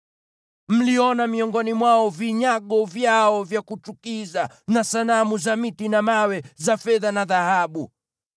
Mliona miongoni mwao vinyago vyao vya kuchukiza na sanamu za miti na mawe, za fedha na dhahabu.